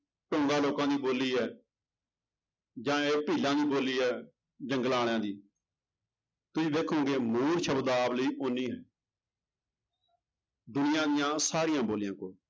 ਲੋਕਾਂ ਦੀ ਬੋਲੀ ਹੈ ਜਾਂ ਇਹ ਦੀ ਬੋਲੀ ਹੈ ਜੰਗਲਾਂ ਵਾਲਿਆਂ ਦੀ ਤੁਸੀਂ ਦੇਖੋਂਗੇ ਮੂਲ ਸ਼ਬਦਾਵਲੀ ਓਨੀ ਹੈ ਦੁਨੀਆਂ ਦੀਆਂ ਸਾਰੀਆਂ ਬੋਲੀਆਂ ਕੋਲ।